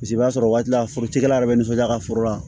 Paseke i b'a sɔrɔ o waati la forotigiyala yɛrɛ bɛ nisɔndiya ka foro la